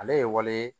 Ale ye waleya ye